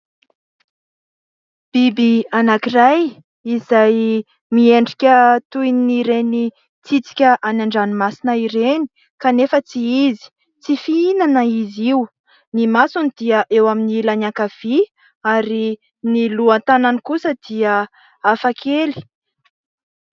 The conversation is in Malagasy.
Biby anankiray izay miendrika toy ireny tsitsika any an-dranomasina ireny kanefa tsy izy, tsy fihinana izy io. Ny masony dia eo amin'ny ilany ankavia ary ny lohan-tanany kosa dia hafakely.